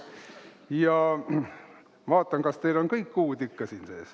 Ma vaatan, kas teil on kõik kuud ikka siin sees.